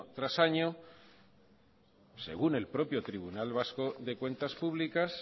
tras año según el propio tribunal vasco de cuentas públicas